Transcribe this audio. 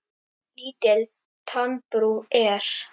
Lítil tannbrú er.